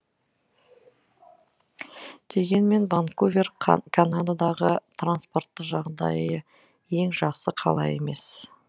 дегенмен ванкувер канададағы транспорттық жағдайы ең жақсы қала емес